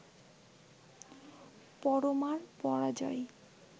পরমার পরাজয়